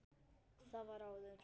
Það var áður.